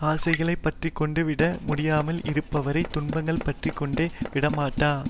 ஆசைகளைப் பற்றி கொண்டு விட முடியாமல் இருப்பவரைத் துன்பங்கள் பற்றி கொண்டு விடமாட்டா